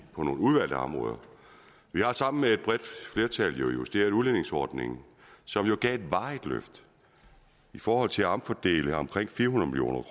har sammen med et bredt flertal justeret udligningsordningen som jo gav et varigt løft i forhold til at omfordele omkring fire hundrede